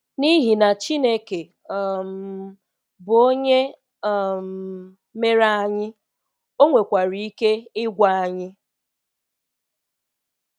N’ihi na Chineke um bụ Onye um mere anyị, O nwekwara ike ịgwa anyị.